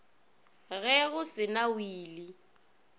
ge go se na wili